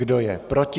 Kdo je proti?